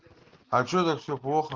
а что так все плохо